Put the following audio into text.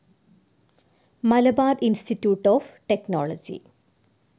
Malabar institute of technology